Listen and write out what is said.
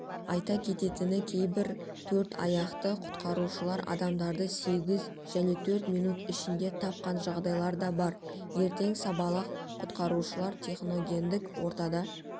айта кететіні кейбір төрт аяқты құтқарушылар адамдарды сегіз және төрт минут ішінде тапқан жағдайлар да бар ертең сабалақ құтқарушылар техногендік ортада